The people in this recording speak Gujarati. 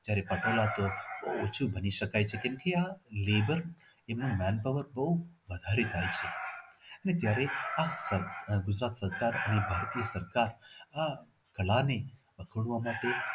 જયારે કપડાઓ તો ભૂ ઓછુ બની શકાય છે કેમ કે આ labour એનું manpower બહુ વધારે હોય અને જયારે આ ગુજરાત સરકારે આ કળા ને